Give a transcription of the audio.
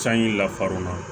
Sanji lafar'u la